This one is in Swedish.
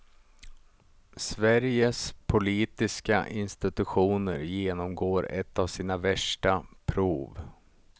Sveriges politiska institutioner genomgår ett av sina värsta prov.